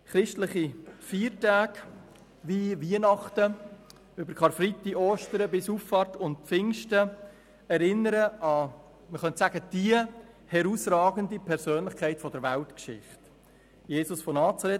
Christliche Feiertage wie Weihnachten, Karfreitag, Ostern und Pfingsten erinnern an die herausragendste Persönlichkeit der Weltgeschichte: Jesus von Nazareth.